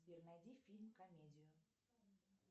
сбер найди фильм комедию